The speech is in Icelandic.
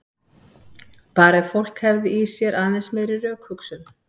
Bara ef fólk hefði í sér aðeins meiri rökhugsun.